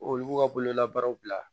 Olu b'u ka bololabaaraw bila